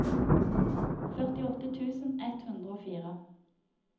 førtiåtte tusen ett hundre og fire